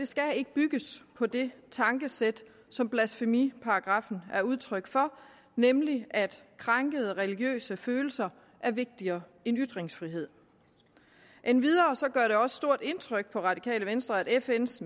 skal ikke bygges på det tankesæt som blasfemiparagraffen er udtryk for nemlig at krænkede religiøse følelser er vigtigere end ytringsfrihed endvidere gør det også stort indtryk på det radikale venstre at fns